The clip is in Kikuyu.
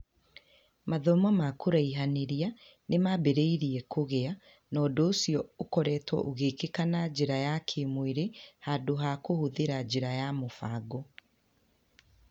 Mathomo ma kũraihanĩria nĩ mambĩrĩirie kũgĩa, na ũndũ ũcio ũkoretwo ũgĩkĩka na njĩra ya kĩĩmwĩrĩ handũ ha kũhũthĩra njĩra ya mũbango.